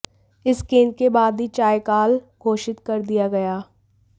इस गेंद के बाद ही चाय काल घोषित कर दिया गया